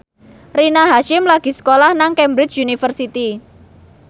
Rina Hasyim lagi sekolah nang Cambridge University